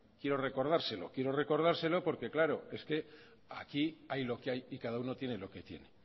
quiero recordárselo quiero recordárselo porque claro aquí hay lo que hay y cada uno tiene lo que tiene